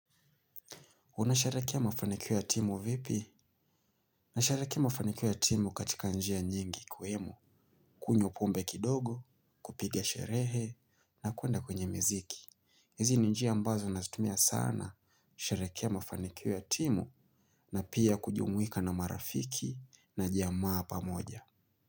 Unasherehekea mafanikio ya timu vipi? Nasherehekea mafanikio ya timu katika njia nyingi ikiwemo kunywa pombe kidogo, kupiga sherehe, na kuenda kwenye miziki. Hizi ni njia ambazo nazitumia sana, kusherehekea mafanikio ya timu, na pia kujumuika na marafiki na jamaa pamoja.